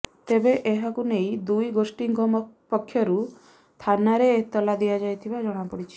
ତେବେ ଏହାକୁ ନେଇ ଦୁଇ ଗୋଷ୍ଠୀଙ୍କ ପକ୍ଷରୁ ଥାନାରେ ଏତଲା ଦିଆଯାଇଥିବା ଜଣାପଡ଼ିଛି